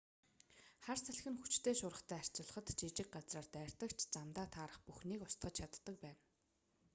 хар салхи нь хүчтэй шуургатай харьцуулахад жижиг газраар дайрдаг ч замдаа таарах бүхнийг устгаж чаддаг байна